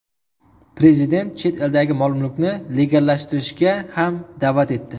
Prezident chet eldagi mol-mulkni legallashtirishga ham da’vat etdi.